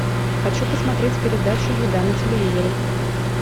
хочу посмотреть передачу еда на телевизоре